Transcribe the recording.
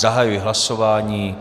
Zahajuji hlasování.